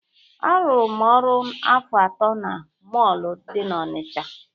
Arụrụ m ọrụ afọ atọ na mọọlụ dị n'Ọnịcha.